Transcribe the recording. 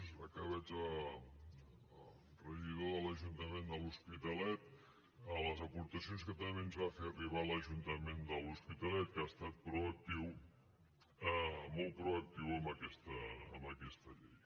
ara que veig el regidor de l’ajuntament de l’hospitalet les aportacions que també ens va fer arribar l’ajuntament de l’hospitalet que ha estat proactiu molt proactiu en aquesta llei